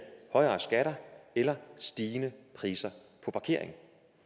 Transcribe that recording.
højere skatter eller stigende priser på parkering